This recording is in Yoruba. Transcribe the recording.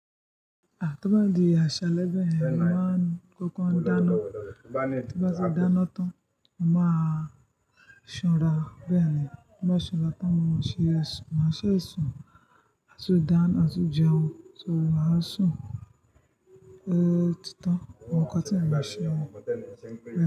Ah! Tí ó bá di àṣà ẹlẹ́gbẹ̀ẹ́, ẹ máa kókan dáná. Tí bá ti dáná tán, mó máa ṣ'ọ́nra bẹ́ẹ̀ ni. Bí mó bá ṣanra tán, mo máa ṣe sun, máa ṣe sun, maa tun dáná maa tó jẹun, só máa sùn. Eééh! Otítán, mo kọ́ tí mo máa ṣe wọn.